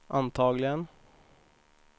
antagligen